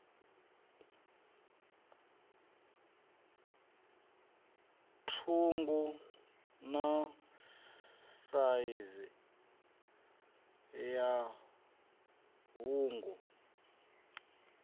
ṱhungu na saizi ya hungu